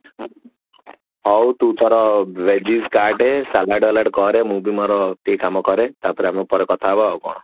ହଉ ତୁ ତୋର veggies କାଟେ ସାଲଡ ବାଲଡ କରେ ମୁଁ ବି ମୋର ଟିକେ କମ କରେ ତାପରେ ଆମେ ପରେ କଥା ହେବ ଆଉ କଣ